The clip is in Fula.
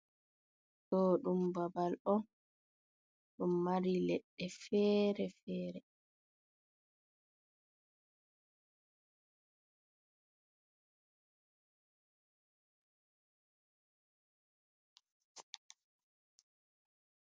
Ɗo ɗum babal on ɗum mari leɗɗe fere fere.